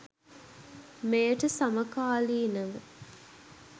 මෙයට සමකාලීනව